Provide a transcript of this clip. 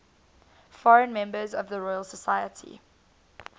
foreign members of the royal society